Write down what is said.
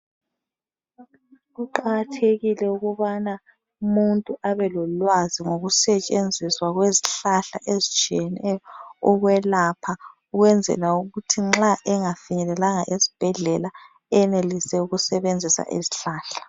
Kuqakathekile ukubana umuntu abelolwazi ngokusetshenziswa kwezihlahla ezitshiyeneyo ukwelapha. Ukwenzela ukuthi nxa engafinyelelanga esibhedlela enelise ukusebenzisa izihlahla.